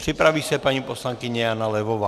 Připraví se paní poslankyně Jana Levová.